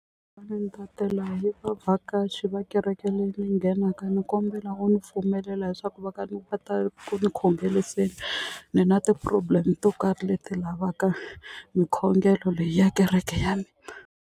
Ni ta tela yi vavhakachi va kereke leyi ni nghenaka ni kombela u ni pfumelela leswaku va ka ni nga ta ku ni khongeliseni ni na ti-problem to karhi leti lavaka mikhongelo leyi ya kereke ya mina.